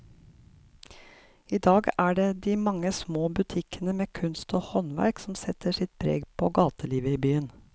I dag er det de mange små butikkene med kunst og håndverk som setter sitt preg på gatelivet i byen.